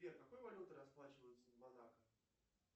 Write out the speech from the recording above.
сбер какой валютой расплачиваются в монако